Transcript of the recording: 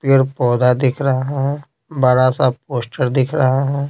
पेड़ पौधा दिख रहा है बड़ा सा पोस्टर दिख रहा ।